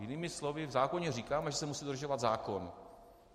Jinými slovy, v zákoně říkáme, že se musí dodržovat zákon.